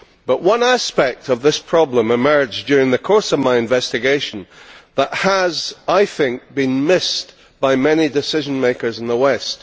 But one aspect of this problem emerged during the course of my investigation that has, I think, been missed by many decision makers in the west.